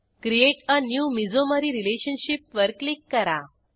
create a new mesomery relationship वर click करा